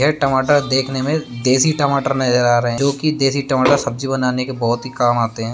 ये टमाटर देखने में देशी टमाटर नजर आ रहे हैं जो की देशी टमाटर सब्जी बनाने के बहुत काम आते हैं।